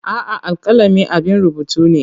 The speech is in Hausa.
A'a, alkalami abun rubutu ne.